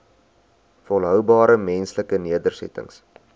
volhoubare menslike nedersettings